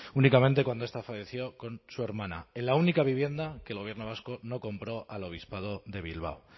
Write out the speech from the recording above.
únicamente cuando esta falleció con su hermana en la única vivienda que el gobierno vasco no compró al obispado de bilbao